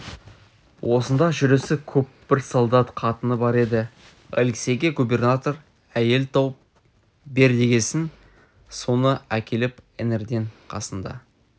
осында жүрісі көп бір солдат қатыны бар еді алексейге губернатор әйел тауып бер дегесін соны әкеліп іңірден қасында